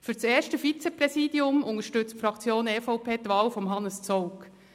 Für das erste Vizepräsidium unterstützt die Fraktion EVP die Wahl von Hannes Zaugg.